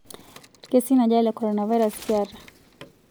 Lkesin aja le korona virus kiata